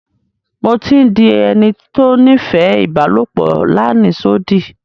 Mo ti ń dí ènì tó nífẹ̀ ibàlọpò làníṣòdí.